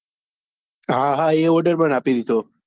હા હા એ order પણ આપી દીધો.